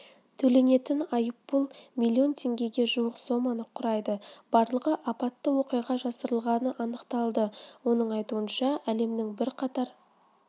төленетін айыппұл миллион теңгеге жуық соманы құрайды барлығы апатты оқиға жасырылғаны анықталды оның айтуынша әлемнің бірқатар